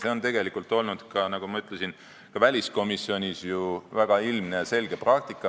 See on olnud ka, nagu ma ütlesin, väliskomisjonis ju väga ilmne ja selge praktika.